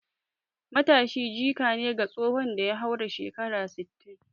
Matashi jika ne ga tsohon da ya haura shekaru sittin